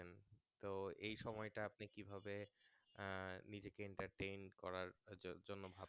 তো এই সময় টা আপনি কি ভাবে আহ নিজেকে entertain করার জন্য ভাবেন